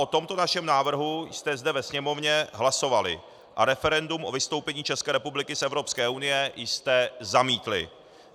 O tomto našem návrhu jste zde ve Sněmovně hlasovali a referendum o vystoupení České republiky z Evropské unie jste zamítli.